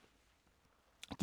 DR1